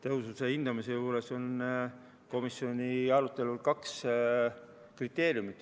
Tõhususe hindamise juures oli komisjoni arutelul kaks kriteeriumit.